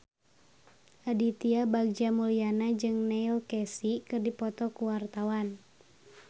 Aditya Bagja Mulyana jeung Neil Casey keur dipoto ku wartawan